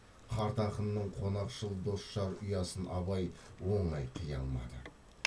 қарт ақынның қонақшыл досжар ұясын абай оңай қия алмады